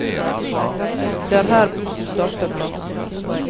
Det er her bussen starter fra.